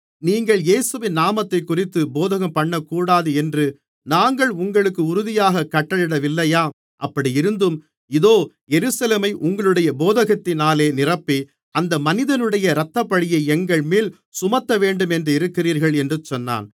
நீங்கள் இயேசுவின் நாமத்தைக்குறித்து போதகம்பண்ணக்கூடாது என்று நாங்கள் உங்களுக்கு உறுதியாகக் கட்டளையிடவில்லையா அப்படியிருந்தும் இதோ எருசலேமை உங்களுடைய போதகத்தினாலே நிரப்பி அந்த மனிதனுடைய இரத்தப்பழியை எங்கள்மேல் சுமத்தவேண்டுமென்றிருக்கிறீர்கள் என்று சொன்னான்